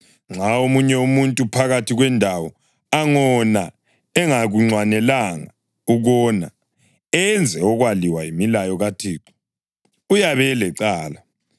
Nxa omunye umuntu phakathi kwendawo angona engakunxwanelanga ukona, enze okwaliwa yimilayo kaThixo, uyabe elecala.